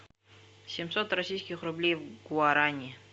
семьсот российских рублей в гуарани